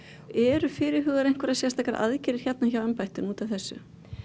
eru fyrirhugaðar einhverjar sérstakar aðgerðir hjá embættinu út af þessu